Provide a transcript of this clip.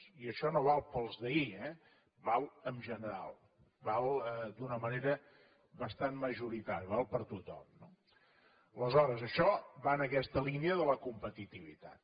i això no val per als d’ahir eh val en general val d’una manera bastant majoritària val per a tothom no aleshores això va en aquesta línia de la competitivitat